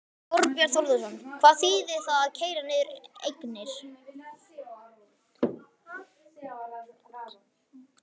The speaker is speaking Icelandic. Þorbjörn Þórðarson: Hvað þýðir það að keyra niður eignir?